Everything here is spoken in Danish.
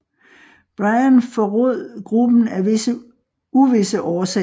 Bryan forrod gruppen af uvisse årsager